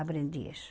Aprendi isso.